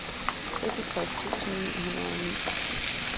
seksogtres tusind ni hundrede og ni